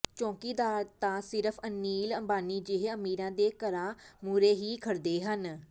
ਚੌਕੀਦਾਰ ਤਾਂ ਸਿਰਫ਼ ਅਨਿਲ ਅੰਬਾਨੀ ਜਿਹੇ ਅਮੀਰਾਂ ਦੇ ਘਰਾਂ ਮੂਹਰੇ ਹੀ ਖੜ੍ਹਦੇ ਹਨ